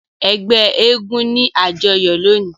Ẹgbẹ èègún ni ajọyọ loni.